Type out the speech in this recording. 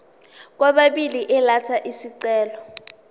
kwababili elatha isicelo